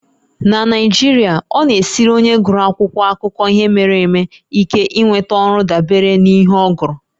Na Naijiria, ọ na-esiri onye gụrụ akwụkwọ akụkọ ihe mere eme ike inweta ọrụ dabere n'ihe ọ gụrụ